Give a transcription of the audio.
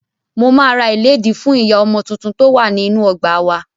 Mo máa ra ìlédìí fú ìyá ọmọ tuntun tó wà ní inú ọgbà wá.